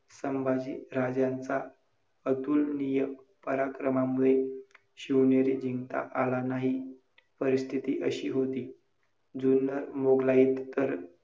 संभाजी राजांचा अतुलनीय पराक्रमामुळे शिवनेरी जिंकता आला नाही, परिस्थिती अशी होती. जुन्नर मोघलाईत तर